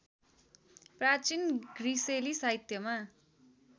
प्राचीन ग्रिसेली साहित्यमा